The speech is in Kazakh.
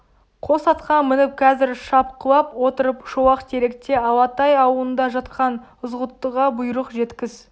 қос атқа мініп қазір шапқылап отырып шолақтеректе алатай аулында жатқан ызғұттыға бұйрық жеткіз